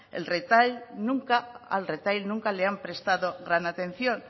al retail nunca le han prestado gran atención